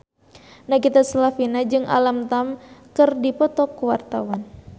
Nagita Slavina jeung Alam Tam keur dipoto ku wartawan